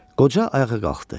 Qoca ayağa qalxdı.